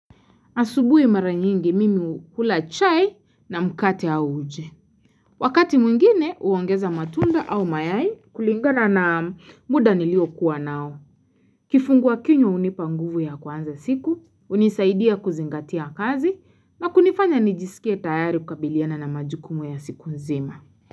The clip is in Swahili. Asubuhi mara nyingi mimi hula chai na mkate au uji. Wakati mwingine uongeza matunda au mayai kulingana na muda nilio kuwa nao. Kifungua kinywa hunipa nguvu ya kuanza siku, hunisaidia kuzingatia kazi na kunifanya nijisikie tayari kukabiliana na majukumu ya siku nzima.